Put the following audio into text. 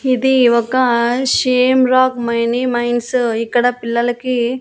ఇది ఒక same wrong mini minds ఇక్కడ పిల్లలకి.